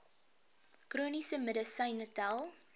chroniese medisyne tel